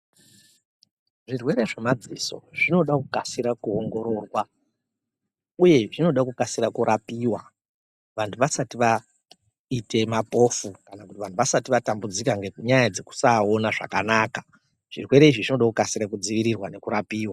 Zvirwere zvemadziso zvinode kukasira kuongororwa uye zvinoda kukasire kurapiwa vantu vasati vaite mapofu kana kuti vantu vasati vatambudzika ngenyaya dzekusaona zvakanaka zvirwere izvi zvinode kukasira kudzivirirwa nekurapiwa.